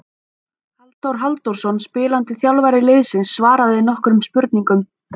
Halldór Halldórsson spilandi þjálfari liðsins svaraði nokkrum spurningum.